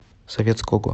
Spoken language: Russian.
советского